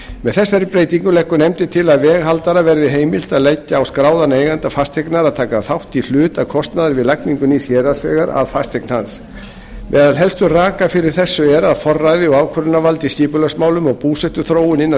með þessari breytingu leggur nefndin til að veghaldara verði heimilt að leggja á skráðan eiganda fasteignar að taka þátt í hluta kostnaðar við lagningu nýs héraðsvegar að fasteign hans meðal helstu raka fyrir þessu er að forræði og ákvörðunarvald í skipulagsmálum og búsetuþróun innan